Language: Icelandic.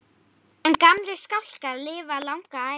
En gamlir skálkar lifa langa ævi.